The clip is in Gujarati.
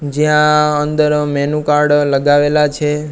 જ્યાં અંદર મેનૂ કાર્ડ લગાવેલા છે.